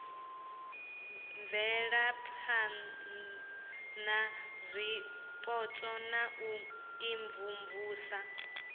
bvelaphana zwipotso na u imvumvusa